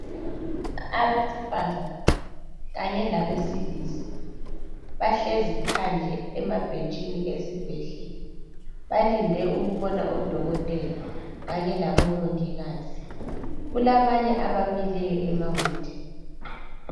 Abesifazana kanye labesilisa bahlezi phandle emabhentshini esibhedlela balinde ukubona odokotela kanye labomongikazi kulabanye abamileyo emawindini